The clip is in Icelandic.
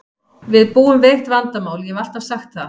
Við búum við eitt vandamál, ég hef alltaf sagt það.